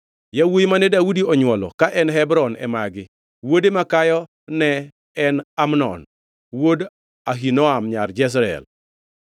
Yawuowi mane Daudi onywolo ka en Hebron e magi: Wuode makayo ne en Amnon wuod Ahinoam nyar Jezreel;